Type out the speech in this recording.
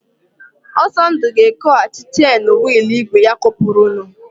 Ọsọndụ ga-ekoghachi chen wịịlụ ígwè ya kopurunu.